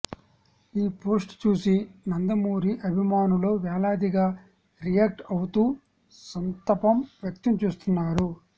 ఈ పోస్ట్ చూసి నందమూరి అభిమానులు వేలాదిగా రియాక్ట్ అవుతూ సంతపం వ్యక్తం చేస్తున్నారు